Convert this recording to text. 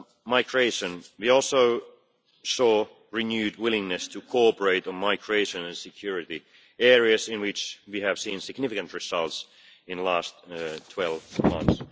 On migration, we also saw renewed willingness to cooperate on migration and security, areas in which we have seen significant results in the last 12 months.